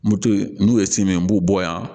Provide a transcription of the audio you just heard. Moto ye n'u ye si min b'u bɔ yan